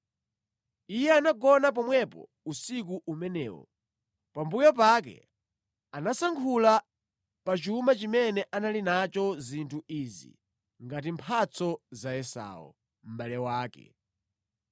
Iye anagona pomwepo usiku umenewo. Pambuyo pake anasankhula pa chuma chimene anali nacho zinthu izi ngati mphatso za Esau, mʼbale wake: